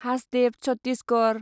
Hasdeo Chhattisgarh